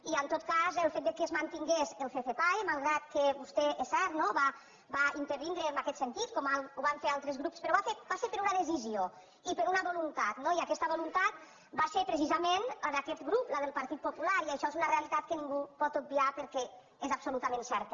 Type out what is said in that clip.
i en tot cas el fet que es mantingués el ccpae malgrat que vostè és cert no va intervindre en aquest sentit com ho vam fer altres grups però va ser per una decisió i per una voluntat no i aquesta voluntat va ser precisament la d’aquest grup del partit popular i això és una realitat que ningú pot obviar perquè és absolutament certa